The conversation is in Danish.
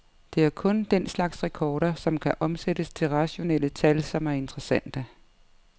Det er kun den slags rekorder, som kan omsættes til rationelle tal, som er interessante.